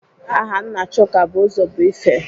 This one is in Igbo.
Aha nna Chuka bụ Ụzọbuife.